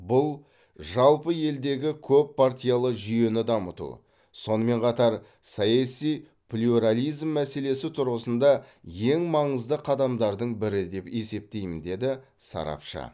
бұл жалпы елдегі көппартиялы жүйені дамыту сонымен қатар саяси плюрализм мәселесі тұрғысында ең маңызды қадамдардың бірі деп есептеймін деді сарапшы